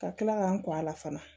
Ka kila k'an kɔ a la fana